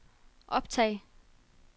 optag